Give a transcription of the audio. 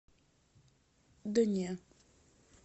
да не